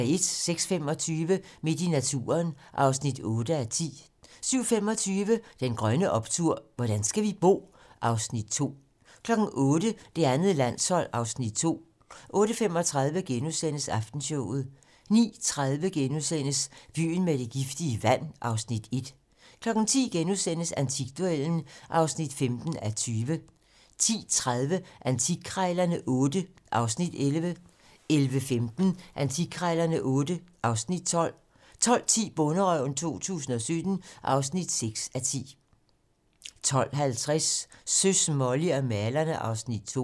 06:25: Midt i naturen (8:10) 07:25: Den grønne optur: Hvordan skal vi bo? (Afs. 2) 08:00: Det andet landshold (Afs. 2) 08:35: Aftenshowet * 09:30: Byen med det giftige vand (Afs. 1)* 10:00: Antikduellen (15:20)* 10:30: Antikkrejlerne XVIII (Afs. 11) 11:15: Antikkrejlerne XVIII (Afs. 12) 12:10: Bonderøven 2017 (6:10) 12:50: Søs, Molly og malerne (Afs. 2)